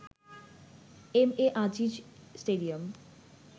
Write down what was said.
MA Aziz stadium